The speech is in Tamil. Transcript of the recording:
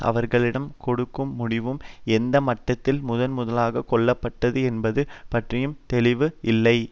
அவர்களிடம் கொடுக்கும் முடிவும் எந்த மட்டத்தில் முதன் முதலாகக் கொள்ளப்பட்டது என்பது பற்றியும் தெளிவு இல்லை